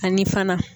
Ani fana